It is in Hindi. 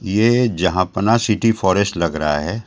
ये जहांपना सिटी फॉरेस्ट लग रहा है।